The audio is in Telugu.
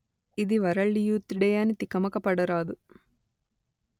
ఇది వరల్డ్ యూత్ డే అని తికమక పడరాదు